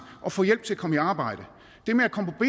og få hjælp til at komme i arbejde det med at komme på